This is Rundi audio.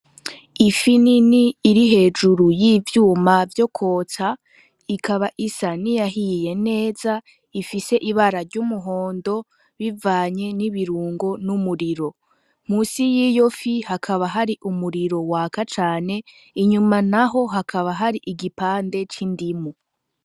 Ifi nini iri hejuru y'ivyuma vyo kwotsa, ikaba isa niyahiye neza ifise ibara ry'umuhondo bivanye n'ibirungo n'umuriro. Musi y'iyo fi hakaba hari umuriro waka cane, inyuma naho hakaba hari igipande c'indimu.